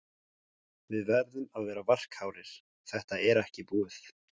Við verðum að vera varkárir, þetta er ekki búið.